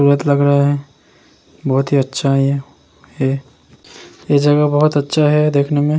सूरत लग रहा है। बोहोत ही अच्छा है ये ये ये जगह बोहोत अच्छा है देखने में ।